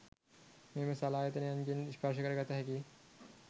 මෙම සලායතනයන්ගෙන් ස්පර්ශකරගත හැකි